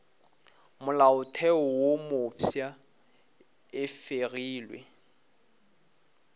molaotheo wo mofsa e fegilwe